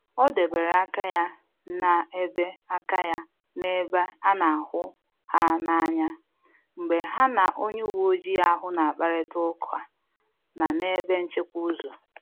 Ọ debere aka ya na-ebe aka ya na-ebe a na hụ ha n’anya mgbe ya na onye uweojii ahu na-akparịta ukwa na n’ebe nchịkwa ụzọ